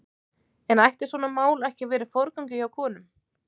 En ætti svona mál ekki að vera í forgangi hjá konum?